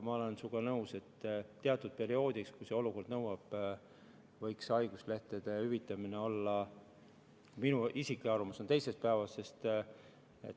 Ma olen sinuga nõus, et teatud perioodil, kui olukord nõuab, võiks haiguslehti hüvitada – see on minu isiklik arvamus – teisest päevast.